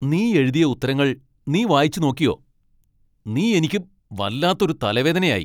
നീ എഴുതിയ ഉത്തരങ്ങൾ നീ വായിച്ച് നോക്കിയോ ? നീ എനിക്ക് വല്ലാത്ത ഒരു തലവേദനയായി.